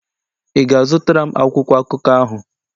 Ị ga-azụtara m akwụkwọ akụkọ ahụ?